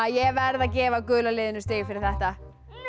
ég verð að gefa gula liðinu stig fyrir þetta